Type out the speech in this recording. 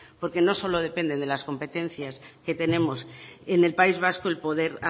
porque no solo depende de las competencias que tenemos en el país vasco el poder